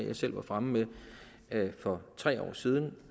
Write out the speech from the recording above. jeg selv var fremme med for tre år siden